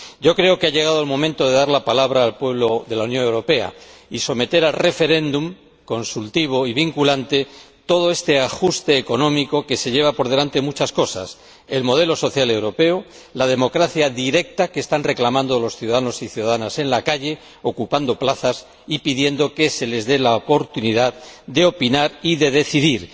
Creo que ha llegado el momento de dar la palabra al pueblo de la Unión Europea y someter a referéndum consultivo y vinculante todo este ajuste económico, que se lleva por delante muchas cosas el modelo social europeo y la democracia directa que están reclamando los ciudadanos y ciudadanas en la calle, ocupando plazas y pidiendo que se les dé la oportunidad de opinar y de decidir.